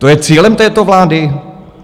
To je cílem této vlády?